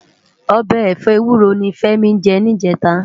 Òbè ẹfọ éwúró ni Femi jè nijètá